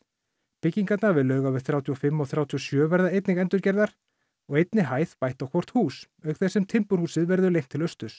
byggingarnar við Laugaveg þrjátíu og fimm og þrjátíu og sjö verða einnig endurgerðar og einni hæð bætt á hvort hús auk þess sem timburhúsið verður lengt til austurs